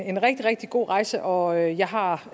en rigtig rigtig god rejse og jeg har